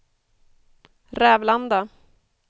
Rävlanda